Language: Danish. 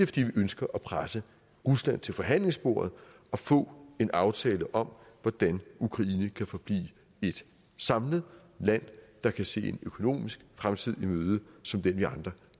fordi vi ønsker at presse rusland til forhandlingsbordet og få en aftale om hvordan ukraine kan forblive et samlet land der kan se en økonomisk fremtid i møde som den vi andre